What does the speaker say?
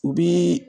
U bi